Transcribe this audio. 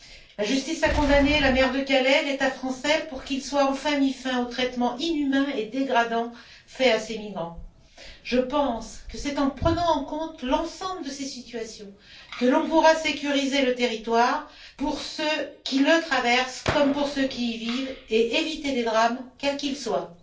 La justice a condamné la maire de Calais et l'État français pour qu'il soit enfin mis fin aux traitements inhumains et dégradants infligés à ces migrants. Je pense que c'est en prenant en compte l'ensemble de ces situations que l'on pourra sécuriser le territoire pour ceux qui le traversent comme pour ceux qui y vivent, et éviter des drames, quels qu'ils soient.